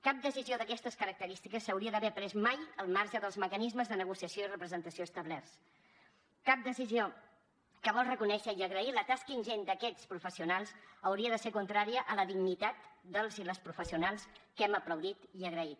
cap decisió d’aquestes característiques s’hauria d’haver pres mai al marge dels mecanismes de negociació i representació establerts cap decisió que vol reconèixer i agrair la tasca ingent d’aquests professionals hauria de ser contrària a la dignitat dels i les professionals que hem aplaudit i agraït